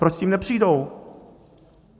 Proč s tím nepřijdou?